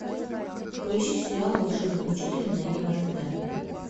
поищи сериал волшебный учитель нэгима тв